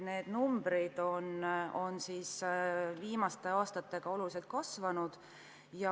Need numbrid on viimaste aastatega oluliselt kasvanud.